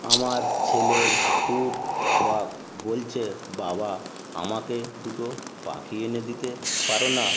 আমার ছেলের খুব শখ বলছে বাবা আমাকে দুটো পাখি এনে দিতে পারো না।